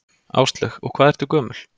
Áslaug: Og hvað ertu gömul?